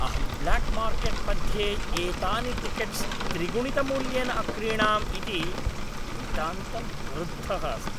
अहं black market मध्ये एतानि टिकेट्स् त्रिगुणितमूल्येन अक्रीणाम् इति नितान्तं क्रुद्धः अस्मि।